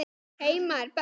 Heima er best.